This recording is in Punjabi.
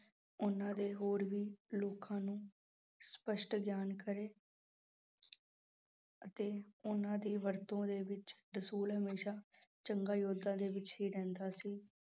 ਉਹਨਾਂ ਦੇ ਹੋਰ ਵੀ ਲੋਕਾਂ ਨੂੰ ਸਪਸ਼ਟ ਗਿਆਨ ਕਰੇ ਅਤੇ ਉਹਨਾਂ ਦੀ ਵਰਤੋਂ ਦੇ ਵਿੱਚ ਰਸੂਲ ਹਮੇਸ਼ਾ ਜੰਗਾਂ ਯੁੱਧਾਂ ਦੇ ਵਿੱਚ ਹੀ ਰਹਿੰਦਾ ਸੀ।